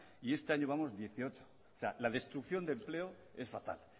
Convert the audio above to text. y este año llevamos dieciocho o sea la destrucción de empleo es fatal